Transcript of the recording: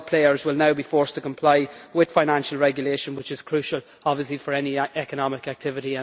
All players will now be forced to comply with financial regulation, which is crucial for any economic activity.